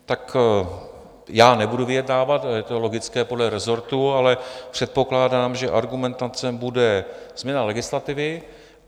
Tak já nebudu vyjednávat, je to logické, podle rezortu, ale předpokládám, že argumentace bude změna legislativy.